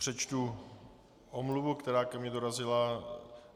Přečtu omluvu, která ke mně dorazila.